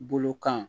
Bolo kan